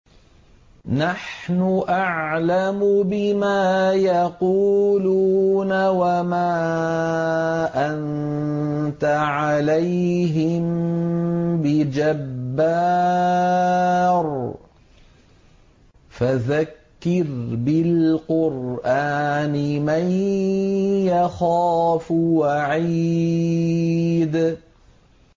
نَّحْنُ أَعْلَمُ بِمَا يَقُولُونَ ۖ وَمَا أَنتَ عَلَيْهِم بِجَبَّارٍ ۖ فَذَكِّرْ بِالْقُرْآنِ مَن يَخَافُ وَعِيدِ